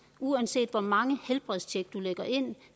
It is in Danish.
uanset hvor mange helbredstjek man lægger ind